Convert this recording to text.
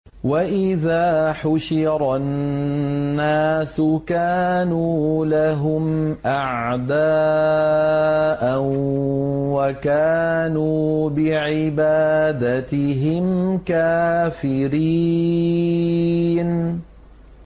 وَإِذَا حُشِرَ النَّاسُ كَانُوا لَهُمْ أَعْدَاءً وَكَانُوا بِعِبَادَتِهِمْ كَافِرِينَ